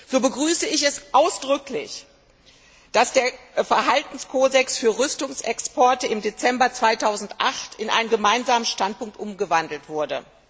So begrüße ich es ausdrücklich, dass der Verhaltenskodex für Rüstungsexporte im Dezember 2008 in einen Gemeinsamen Standpunkt umgewandelt wurde.